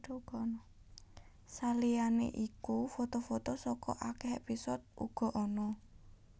Saliyané iku foto foto saka akèh épisode uga ana